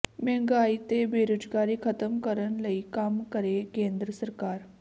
ਮਹਿੰਗਾਈ ਤੇ ਬੇਰੁਜ਼ਗਾਰੀ ਖ਼ਤਮ ਕਰਨ ਲਈ ਕੰਮ ਕਰੇ ਕੇਂਦਰ ਸਰਕਾਰ